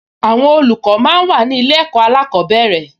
Àwọn olùkọ́ máa ń wà ní ilé ẹ̀kọ́ alákọ̀ọ́bẹ̀rẹ̀